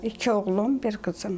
İki oğlum, bir qızım.